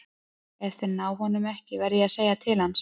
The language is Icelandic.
Ef þeir ná honum ekki verð ég að segja til hans.